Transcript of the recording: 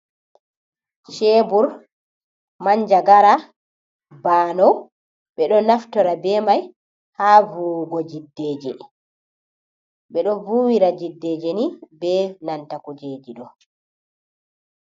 Chebur, manjagara, banow, ɓeɗo naftora be mai ha vuwugo jiddeje. Ɓedo vuwira jiddeje ni, be nanta kujeji do